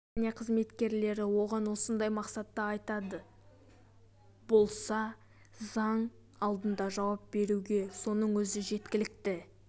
компания қызметкерлері оған осындай мақсатта айтады болса заң алдында жауап беруге соның өзі жеткілікті